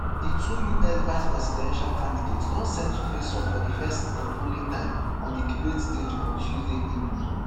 di two us vice-presidential candidates don set to face off for di first and only time on di debate stage on tuesday evening.